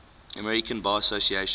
american bar association